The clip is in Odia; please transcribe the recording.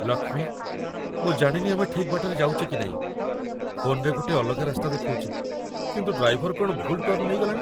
ଲକ୍ଷ୍ମୀ, ମୁଁ ଜାଣିନି ଆମେ ଠିକ୍ ବାଟରେ ଯାଉଚେ କି ନାଇଁ । ଫୋନ୍‌ରେ ଗୋଟେ ଅଲଗା ରାସ୍ତା ଦେଖଉଚି କିନ୍ତୁ ଡ୍ରାଇଭର କ'ଣ ଭୁଲ୍ ଟର୍ଣ୍ଣ ନେଇଗଲାଣି ।